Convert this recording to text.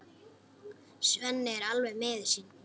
Svenni er alveg miður sín.